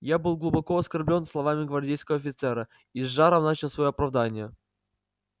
я был глубоко оскорблён словами гвардейского офицера и с жаром начал своё оправдание